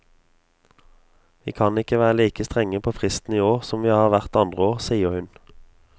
Vi kan ikke være like strenge på fristen i år som vi har vært andre år, sier hun.